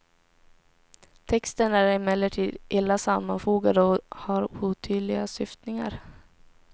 Texten är emellertid illa sammanfogad och har otydliga syftningar.